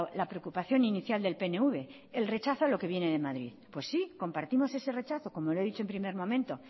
la preocupación inicial del pnv el rechazo a lo que viene de madrid pues sí compartimos ese rechazo como le he dicho en primer momento